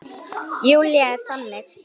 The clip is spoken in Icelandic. Júlía er þannig.